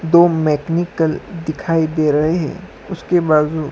दो मैकेनिकल दिखाई दे रहे है उसके बाजू--